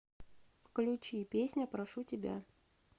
включи песня прошу тебя